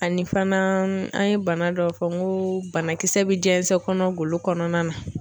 Ani fana an ye bana dɔ fɔ n ko banakisɛ bɛ jɛnsɛ kɔnɔ golo kɔnɔna na.